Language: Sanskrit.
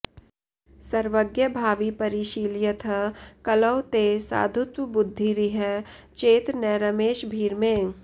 सर्वज्ञ भावि परिशीलयतः कलौ ते साधुत्वबुध्दिरिह चेत न रमेश भीर्मे